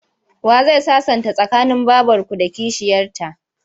Wa zai sasanta tsakanin babarku da kishiyarta?